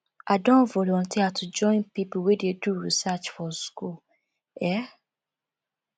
i don volunteer to join pipo wey dey do research for skool um